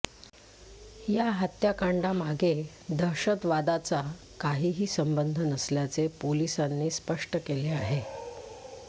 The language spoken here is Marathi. या हत्याकांडामागे दहशतवादाचा काहीही संबंध नसल्याचे पोलिसांनी स्पष्ट केले आहे